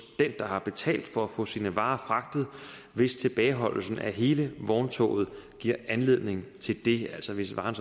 den der har betalt for at få sine varer fragtet hvis tilbageholdelsen af hele vogntoget giver anledning til det altså hvis varen